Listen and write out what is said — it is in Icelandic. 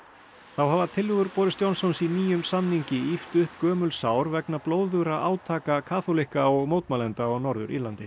þá hafa tillögur Johnsons í nýjum samningi ýft upp gömul sár vegna blóðugra átaka kaþólikka og mótmælenda á Norður Írlandi